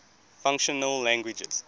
functional languages